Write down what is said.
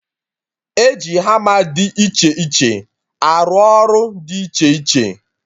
E ji hama dị iche iche arụ ọrụ dị iche iche